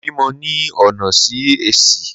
Mo bímọ ni ọ̀nà Sí-Ẹsì.